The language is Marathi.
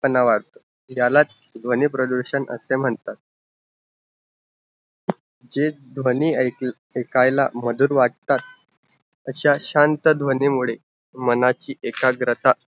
आना वढतो ज्याला ध्वनी प्रधुषण असे म्हणतात जे ध्वनी आयक अयकायला मधुर वाटतात, असा शांत ध्वनीमुळे मनाची एकाग्रता